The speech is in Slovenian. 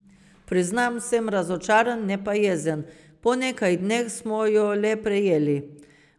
Priznam, sem razočaran, ne pa jezen.